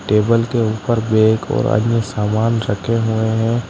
Table के ऊपर bag और आदमी सामान रखे हुए हैं।